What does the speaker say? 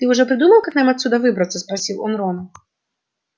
ты уже придумал как нам отсюда выбраться спросил он рона